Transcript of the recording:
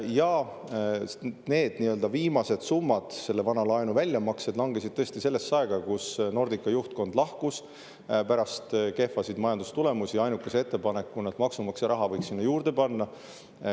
Ja need viimased summad, selle vana laenu väljamaksed langesid tõesti sellesse aega, kui Nordica juhtkond lahkus pärast kehvasid majandustulemusi ainukese ettepanekuga, et maksumaksja raha võiks sinna juurde panna.